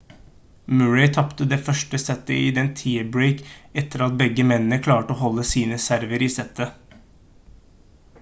murray tapte det første settet i en tiebreak etter at begge mennene klarte å holde sine server i settet